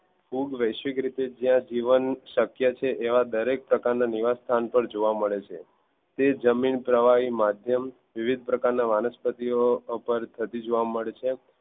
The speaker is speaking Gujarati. ફૂગ જ્યાં વૈશ્વિવિક રીતે જ્યાં જીવન શક્ય હોય એવા દરેક પ્રકાર ના નીવાસ્થાન માં જોવા મળે છે તે જમીન પ્રવાહી માધ્યમ વિવધ પ્રકારના વનસ્પતિઓ ઉપર થતી જોવા મળે છે.